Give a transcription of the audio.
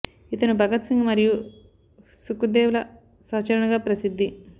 ఇతను భగత్ సింగ్ మరియు సుఖ్ దేవ్ ల సహచరునిగా ప్రసిధ్ధి